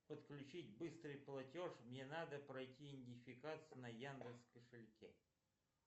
подключить быстрый платеж мне надо пройти идентификацию на яндекс кошельке